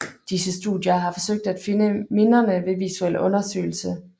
Disse studier har forsøgt at finde miderne ved visuel undersøgelse